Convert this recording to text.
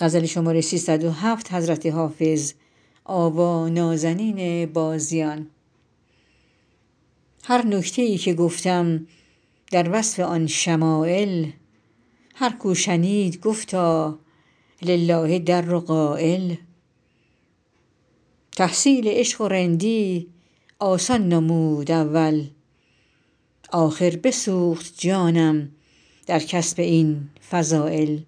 هر نکته ای که گفتم در وصف آن شمایل هر کو شنید گفتا لله در قایل تحصیل عشق و رندی آسان نمود اول آخر بسوخت جانم در کسب این فضایل